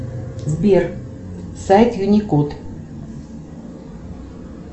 сбер сайт юникот